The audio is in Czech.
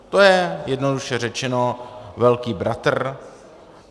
To je jednoduše řečeno velký bratr.